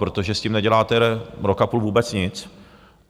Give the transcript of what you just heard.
Protože s tím neděláte rok a půl vůbec nic.